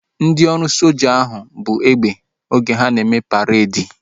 Ndị ọrụ soja ahu buu egbe oge ha na-eme paredi